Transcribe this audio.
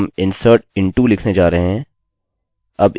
हम insert into लिखने जा रहे हैं